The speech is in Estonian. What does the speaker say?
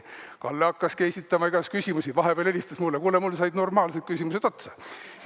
" Kalle hakkaski esitama igasuguseid küsimusi, vahepeal helistas mulle, et kuule, mul said normaalsed küsimused otsa.